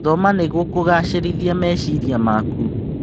Thoma nĩguo kũgacĩrithia meciria maku.